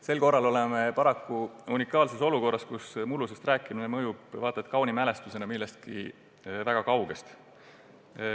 Sel korral oleme paraku unikaalses olukorras, kus mullusest rääkimine mõjub vaata et kauni mälestusena millestki väga kaugest.